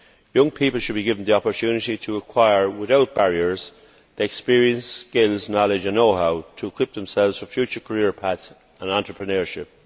Young people should be given the opportunity to acquire, without barriers, the experience, skills, knowledge and know how to equip themselves for future career paths and entrepreneurship.